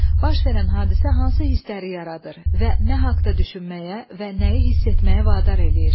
Baş verən hadisə hansı hissləri yaradır və nə haqda düşünməyə və nəyi hiss etməyə vadar eləyir?